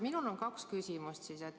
Minul on kaks küsimust.